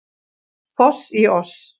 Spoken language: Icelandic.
Foss í oss